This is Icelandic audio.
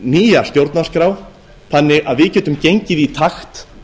nýja stjórnarskrá þannig að við getum gengið í takt